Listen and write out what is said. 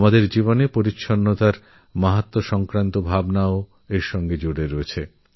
আমাদের জীবনে স্বচ্ছতার মহত্ত্বের অভিব্যক্তিও এর মধ্যে নিহিত